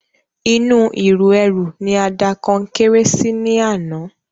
Inú ìru ẹrù ni a da Konkéré sí ní àná